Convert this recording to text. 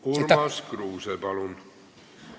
Urmas Kruuse, palun!